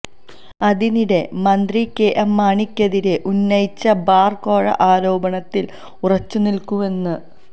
അതിനിടെ മന്ത്രി കെഎം മാണിക്കെതിരെ ഉന്നയിച്ച ബാര് കോഴ ആരോപണത്തില് ഉറച്ചു നില്ക്കുന്നുവെന്ന്